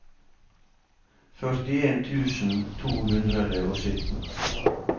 førtien tusen to hundre og sytten